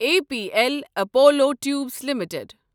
A P L Apollo tubes limited